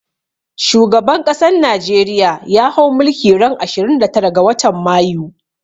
Shugaban ƙasan najeriya ya hau mulki ran ashirin da tara ga watan mayu